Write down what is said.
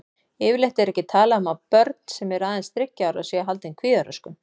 Yfirleitt er ekki talað um að börn sem eru aðeins þriggja ára séu haldin kvíðaröskun.